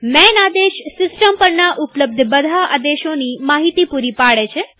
માન આદેશ સિસ્ટમ પરના ઉપલબ્ધ બધા આદેશોની માહિતી પૂરી પાડે છે